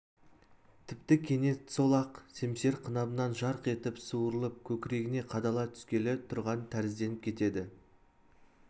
тіпті кенет сол ақ семсер қынабынан жарқ етіп суырылып көкірегіне қадала түскелі тұрған тәрізденіп кетеді